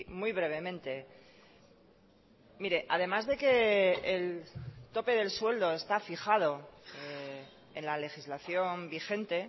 muy brevemente mire además de que el tope del sueldo está fijado en la legislación vigente